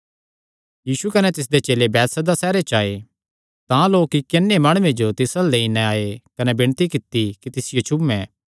यीशु कने तिसदे चेले बैतसैदा सैहरे च आये तां लोक इक्की अन्ने माणुये जो तिस अल्ल लेई नैं आये कने विणती कित्ती कि तिस जो छुये